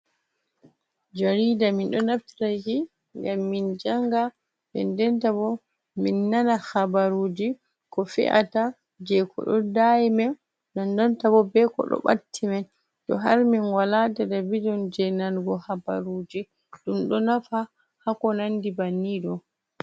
Jarida min do naftiraki gam min janga, dendenta bo min nana habaruji ko fe’ata je ko do dayimi dendenta bo be ko do batti man to har min wala telebidin je nanugo habaruji dum do nafa hako nandi banni do.